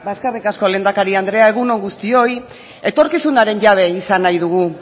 eskerrik asko lehendakari andrea egun on guztioi etorkizunaren jabe izan nahi dugu